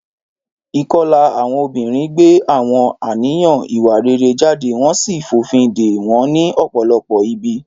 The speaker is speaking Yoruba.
Ìkọlà àwọn obìnrin gbé àwọn àníyàn ìwà rere jáde wọ́n sì fòfin de wọn ní ọ̀pọ̀lọpọ̀ ibi.